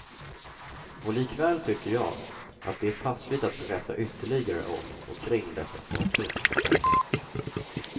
Och likväl tycker jag, att det är passligt att berätta ytterligare om och kring detta fartyg.